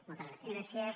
moltes gràcies